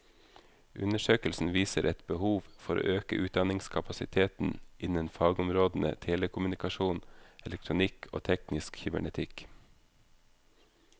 Undersøkelsen viser et behov for å øke utdanningskapasiteten innen fagområdene telekommunikasjon, elektronikk og teknisk kybernetikk.